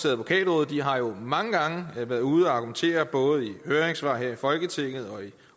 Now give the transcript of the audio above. advokatrådet de har jo mange gange været ude at argumentere både i høringssvar her i folketinget og i